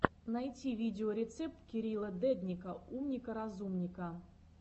найти видеорецепт кирилла дедника умника разумника